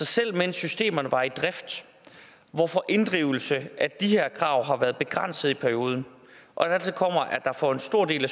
selv mens systemerne var i drift hvorfor inddrivelse af de her krav har været begrænset i perioden og dertil kommer at der for en stor del af